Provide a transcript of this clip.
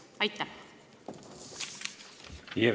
Aitäh!